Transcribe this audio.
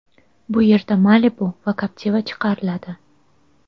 Bu yerda Malibu va Captiva chiqariladi.